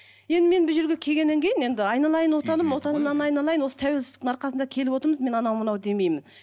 енді мен бұл жерге келгеннен кейін енді айналайын отаным отанымнан айналайын осы тәуелсіздіктің арқасында келіп отырмыз мен анау мынау демеймін